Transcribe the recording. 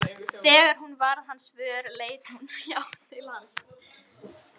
Hjónabandið í vestrænni menningu er fyrirbæri sem hefur verið í sífelldri mótun.